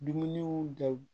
Dumuniw dɔw